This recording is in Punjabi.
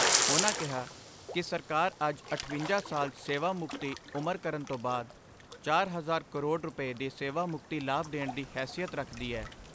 ਉਨ੍ਹਾਂ ਕਿਹਾ ਕਿ ਸਰਕਾਰ ਅੱਜ ਅਠਵੰਜਾ ਸਾਲ ਸੇਵਾ ਮੁਕਤੀ ਉਮਰ ਕਰਨ ਤੋਂ ਬਾਅਦ ਚਾਰ ਹਜ਼ਾਰ ਕਰੋੜ ਰੁਪੈ ਦੇ ਸੇਵਾ ਮੁਕਤੀ ਲਾਭ ਦੇਣ ਦੀ ਹੈਸੀਅਤ ਰੱਖਦੀ ਐ।